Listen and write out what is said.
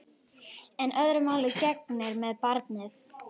En öðru máli gegnir með barnið.